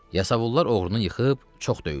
Yasavullar oğrunu yıxıb çox döyürlər.